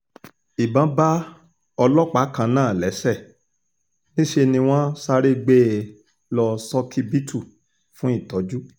ìbọn bá ọlọ́pàá kan náà lẹ́sẹ̀ níṣẹ́ ni wọ́n sáré gbé e lọ ṣókíbítù fún ìtọ́jú